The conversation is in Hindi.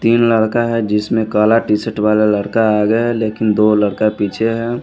तीन लड़का है जिसमें काला टी शर्ट वाला लड़का आगे है लेकिन दो लड़का पीछे है।